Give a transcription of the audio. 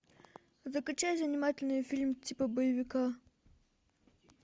закачай занимательный фильм типа боевика